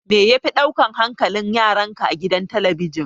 Me yafi ɗaukan hankalin yaranka a gidan talabijin?